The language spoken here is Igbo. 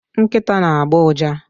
Nkịta na-agbọ ụja